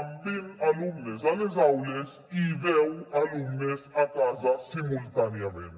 amb vint alumnes a les aules i deu alumnes a casa simultàniament